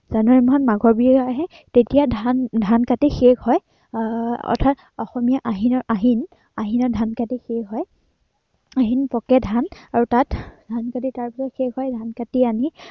জানুৱাৰী মাহত মাঘৰ বিহু আহে, তেতিয়া ধান, ধান কাটি শেষ হয় আহ অৰ্থাৎ অসমীয়া আহিনৰ আহিন, আহিনত ধান কাটি শেষ হয়। আহিনত পকে ধান আৰু তাত ধান কাটি তাৰপিছত শেষ হয় ধান কাটি আনি